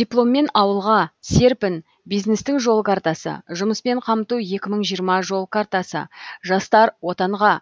дипломмен ауылға серпін бизнестің жол картасы жұмыспен қамту екі мың жиырма жол картасы жастар отанға